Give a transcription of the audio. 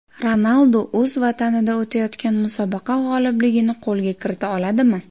Ronaldu o‘z vatanida o‘tayotgan musobaqa g‘olibligini qo‘lga kirita oladimi?